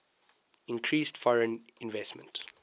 increased foreign investment